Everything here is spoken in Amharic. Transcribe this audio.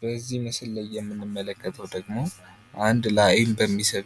በዚህ ምስል ላይ የምንመለከተው ደግሞ አንድ ላይ አይን በሚስብ